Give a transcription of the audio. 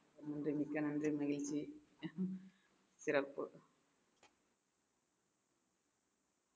நன்றி மிக்க நன்றி மகிழ்ச்சி சிறப்பு